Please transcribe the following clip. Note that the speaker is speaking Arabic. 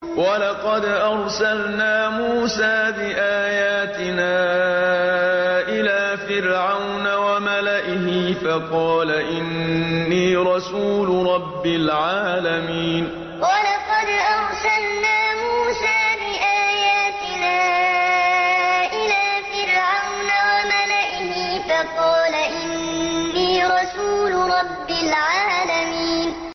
وَلَقَدْ أَرْسَلْنَا مُوسَىٰ بِآيَاتِنَا إِلَىٰ فِرْعَوْنَ وَمَلَئِهِ فَقَالَ إِنِّي رَسُولُ رَبِّ الْعَالَمِينَ وَلَقَدْ أَرْسَلْنَا مُوسَىٰ بِآيَاتِنَا إِلَىٰ فِرْعَوْنَ وَمَلَئِهِ فَقَالَ إِنِّي رَسُولُ رَبِّ الْعَالَمِينَ